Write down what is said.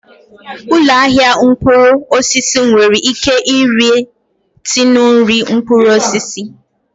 Ụlọ ahịa mkpụrụ osisi nwere ike ire tinu nri mkpụrụ osisi